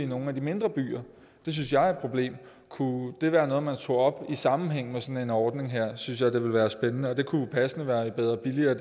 nogle af de mindre byer det synes jeg er et problem kunne det være noget man tog op i sammenhæng med sådan en ordning her synes jeg det ville være spændende og det kunne jo passende være i bedre og billigere